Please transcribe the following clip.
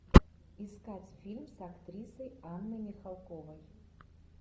искать фильм с актрисой анной михалковой